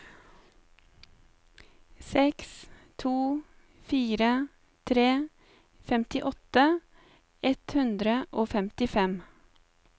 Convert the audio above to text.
seks to fire tre femtiåtte ett hundre og femtifem